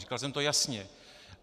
Říkal jsem to jasně.